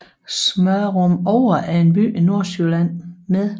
Smørumovre er en by i Nordsjælland med